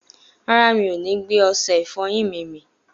Rárá, mi ò ni gbé ọsẹ ìfọyín mi mì